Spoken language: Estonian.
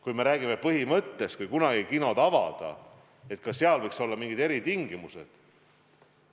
Kui me räägime põhimõttest, kui kunagi kinod avada, siis ka seal võiks olla mingid eritingimused.